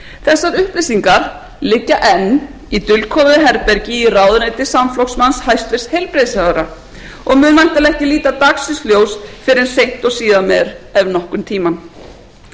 þessar upplýsingar liggja enn í dulkóðuðu herbergi í ráðuneyti samflokksmanns hæstvirtur heilbrigðisráðherra og mun væntanlega ekki líta dagsins ljós fyrr en seint og síðan meir ef nokkurn tímann gagnsæið snýr því ekki að umskiptum og stjórnarandstöðu í ráðherrastól og þegar